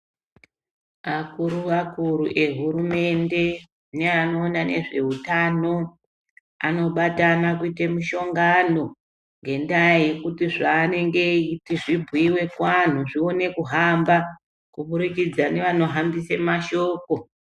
Akuru-akuru ehurumende neanoona nezveutano batana kuite mushongano. Ngendaa yekuti zvanenge eiiti zvibhuive kuvantu zvione kuhamba kubudikidza nevanohambisa mashoko.